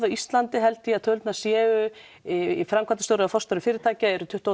á Íslandi held ég að tölurnar séu í framkvæmdarstjóra eða forstjóra fyrirtækja eru tuttugu